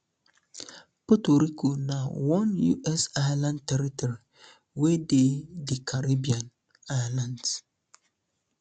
puerto rico na one us island territory wey dey di caribbean um islands um